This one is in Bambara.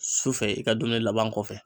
Su fɛ i ka dumuni laban kɔfɛ.